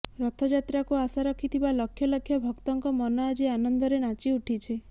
ରଥଯାତ୍ରାକୁ ଆଶା ରଖିଥିବା ଲକ୍ଷ ଲକ୍ଷ ଭକ୍ତଙ୍କ ମନ ଆଜି ଆନନ୍ଦରେ ନାଚିଉଠିଛି